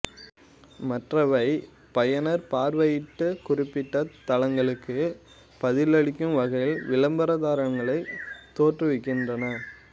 மற்றவை பயனர் பார்வையிட்ட குறிப்பிட்ட தளங்களுக்கு பதிலளிக்கும் வகையில் விளம்பரங்களைத் தோற்றுவிக்கின்றன